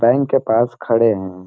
Bank के पास खड़े है।